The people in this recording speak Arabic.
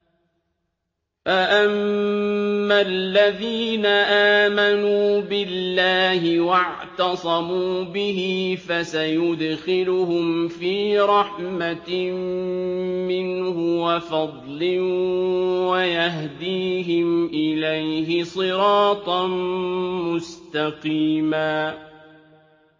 فَأَمَّا الَّذِينَ آمَنُوا بِاللَّهِ وَاعْتَصَمُوا بِهِ فَسَيُدْخِلُهُمْ فِي رَحْمَةٍ مِّنْهُ وَفَضْلٍ وَيَهْدِيهِمْ إِلَيْهِ صِرَاطًا مُّسْتَقِيمًا